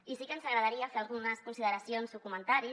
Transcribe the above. i sí que ens agradaria fer algunes consideracions o comentaris